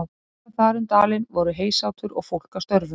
Hér og þar um dalinn voru heysátur og fólk að störfum.